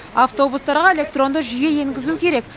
автобустарға электронды жүйе енгізу керек